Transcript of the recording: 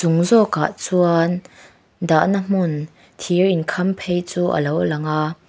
zawkah chuan dahna hmun thir inkhamphei chu alo lang a--